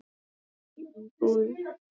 Eldur í íbúð